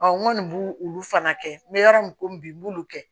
n kɔni b'o olu fana kɛ n bɛ yɔrɔ min komi bi n b'olu kɛ